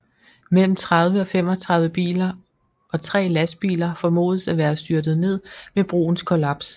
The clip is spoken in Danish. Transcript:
Mellem 30 og 35 biler og tre lastbiler formodes at være styrtet ned ved broens kollaps